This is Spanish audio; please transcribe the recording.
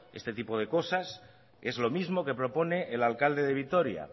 este tipo de cosas es lo mismo que propone el alcalde de vitoria